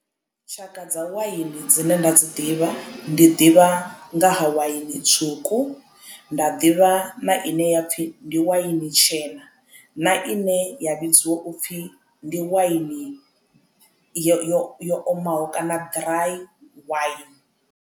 Tshaka dza waini dzine nda dzi ḓivha ndi ḓivha nga ha waini tswuku nda ḓivha na ine ya pfhi ndi waini tshena na ine ya vhidziwa upfhi ndi waini yo yo omaho kana ḓirai waini.